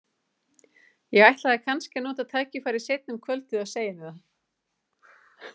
Ég ætlaði kannski að nota tækifærið seinna um kvöldið og segja henni það.